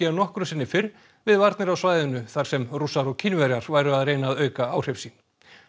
en nokkru sinni fyrr við varnir á svæðinu þar sem Rússar og Kínverjar væru að reyna að auka áhrif sín